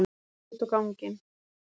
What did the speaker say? Hverfur út á ganginn.